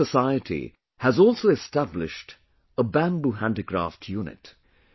This society has also established a bamboo handicraft unit